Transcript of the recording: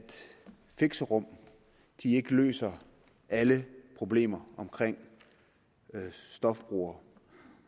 fixerum ikke løser alle problemer omkring stofbrugere